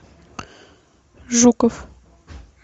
жуков